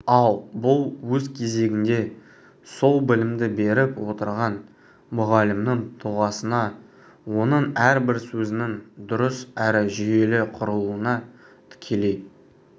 ал бұл өз кезегінде сол білімді беріп отырған мұғалімнің тұлғасына оның әрбір сөзінің дұрыс әрі жүйелі құрылуына тікелей